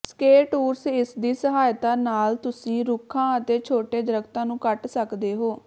ਸਕੇਟੂਰਸ ਇਸਦੀ ਸਹਾਇਤਾ ਨਾਲ ਤੁਸੀਂ ਰੁੱਖਾਂ ਅਤੇ ਛੋਟੇ ਦਰਖ਼ਤਾਂ ਨੂੰ ਕੱਟ ਸਕਦੇ ਹੋ